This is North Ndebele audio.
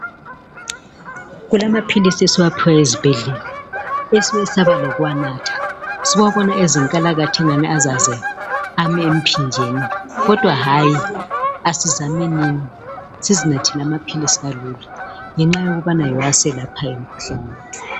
Kulamapills esiwaphiwayo ezibhedlela esesaba lokuwanatha siwabona eyezinkalakatha engani azaze ame emphinjeni kodwa kumele sizame ukuwanatha ngoba kuyiwo aselaphayo lapha sigula